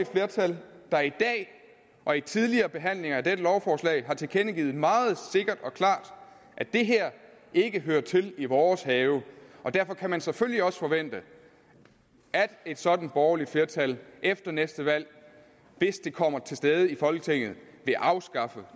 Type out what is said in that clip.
flertal der i dag og i tidligere behandlinger af dette lovforslag har tilkendegivet meget sikkert og klart at det her ikke hører til i vores have og derfor kan man selvfølgelig også forvente at et sådant borgerligt flertal efter næste valg hvis det kommer til stede folketinget vil afskaffe